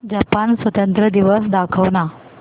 Japan स्वातंत्र्य दिवस दाखव ना